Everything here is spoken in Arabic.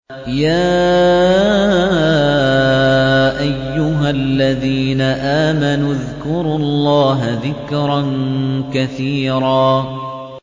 يَا أَيُّهَا الَّذِينَ آمَنُوا اذْكُرُوا اللَّهَ ذِكْرًا كَثِيرًا